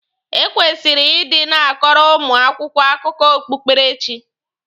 E kwesịrị ị dị na-akọrọ ụmụ akwụkwọ akụkọ okpukpere chi.